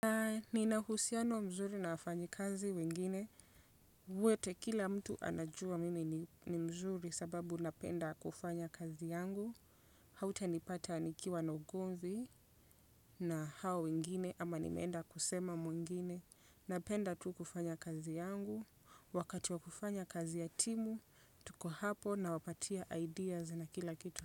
Nina uhusiano mzuri na wafanyi kazi wengine Wete, kila mtu anajua mimi ni mzuri sababu napenda kufanya kazi yangu. Hauta nipata nikiwa na ugomvi na hao wengine ama nimenda kusema mwengine. Napenda tu kufanya kazi yangu. Wakati wa kufanya kazi ya timu, tuko hapo na wapatia ideas na kila kitu.